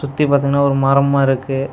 சுத்தி பாத்தீங்னா ஒரு மரமா இருக்கு.